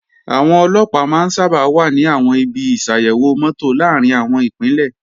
Àwọn Ọlọ́pàá máa ń sábà wà ní àwọn ibi ìṣàyèwò mọ́tò làárín àwọn Ìpínlẹ̀